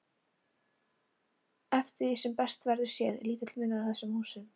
Eftir því sem best verður séð er lítill munur á þessum húsum.